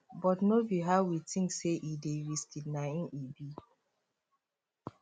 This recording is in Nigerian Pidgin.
but no be how we think say e dey risky na im e be